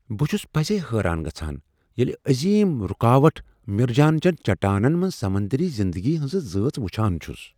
بہٕ چھس پزی حیران گژھان ییٚلہ عظیم رکاوٹ مرجانچین چٹانن منٛز سمندری زندگی ہنزٕ ذٲژ وچھان چھُس۔